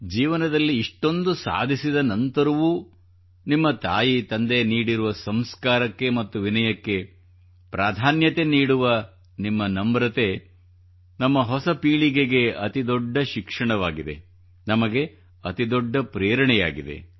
ಜೀವನದಲ್ಲಿ ಇಷ್ಟೊಂದು ಸಾಧಿಸಿದ ನಂತರವೂ ನಿಮ್ಮ ತಾಯಿ ತಂದೆ ನೀಡಿರುವ ಸಂಸ್ಕಾರಕ್ಕೆ ಮತ್ತು ವಿನಯಕ್ಕೆ ಪ್ರಾಧಾನ್ಯತೆ ನೀಡುವ ನಿಮ್ಮ ನಮ್ರತೆ ನಮ್ಮ ಹೊಸ ಪೀಳಿಗೆಗೆ ಅತಿ ದೊಡ್ಡ ಶಿಕ್ಷಣವಾಗಿದೆ ನಮಗೆ ಅತಿ ದೊಡ್ಡ ಪ್ರೇರಣೆಯಾಗಿದೆ